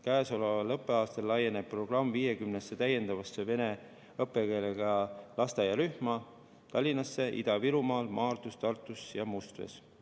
Käesoleval õppeaastal laieneb programm täiendavalt 50-sse vene õppekeelega lasteaiarühma Tallinnas, Ida-Virumaal, Maardus, Tartus ja Mustvees.